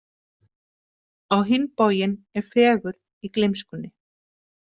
Á hinn bóginn er fegurð í gleymskunni.